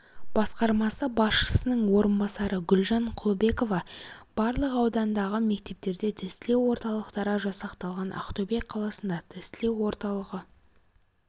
басқармасы басшысының орынбасары гүлжан құлыбекова барлық аудандағы мектептерде тестілеу орталықтары жасақталған ақтөбе қаласында тестілеу орталығы